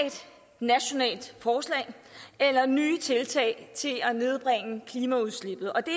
nationalt forslag eller nye tiltag til at nedbringe klimaudslippet og det